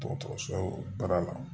Dɔgɔtɔrɔso baara la